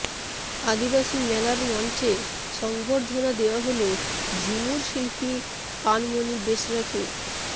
আদিবাসী মেলার মঞ্চে সংবর্ধনা দেওয়া হল ঝুমুর শিল্পী পানমণি বেসরাকে